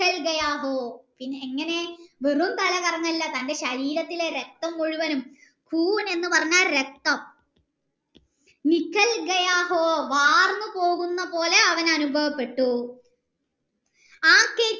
M പിന്നെ എങ്ങനെ വെറും തലകറങ്ങല്ല തൻ്റെ ശരീരത്തിലെ രക്തം മുഴുവനും എന്ന് പറഞ്ഞാൽ രക്തം വാർന്നു പോകുന്ന പോലെ അവന് അനിഭവപ്പെട്ടു